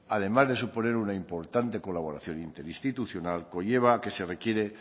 además de suponer una importante colaboración interinstitucional conlleva a que se requiere